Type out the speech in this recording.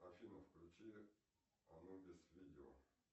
афина включи анубис видео